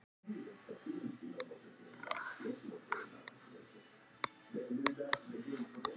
Er hollt að stunda kynlíf?